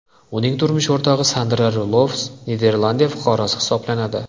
Uning turmush o‘rtog‘i Sandra Rulofs Niderlandiya fuqarosi hisoblanadi.